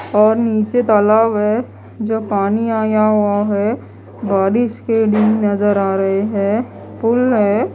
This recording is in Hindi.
और नीचे तालाब है जो पानी आया हुआ है। बारिश के दिन नजर आ रहे है पुल है।